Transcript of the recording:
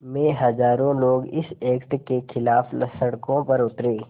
में हज़ारों लोग इस एक्ट के ख़िलाफ़ सड़कों पर उतरे